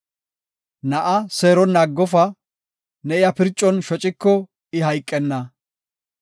Na7a seeronna aggofa; ne iya pircon shociko I hayqenna.